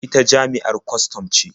Ita jami'ar kwastam ce.